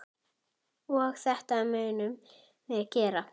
Og þetta munum við gera.